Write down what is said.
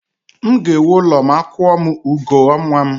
M ga-ewu ụlọ ma a kwuo m ugo ọnwa m